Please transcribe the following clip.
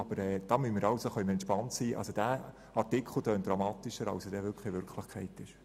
Aber wir können uns entspannen, denn dieser Artikel tönt dramatischer als er in Wirklichkeit ist.